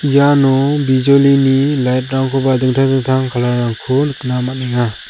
iano bijolini lait rangkoba dingtang dingtang kalar rangko nikna man·enga.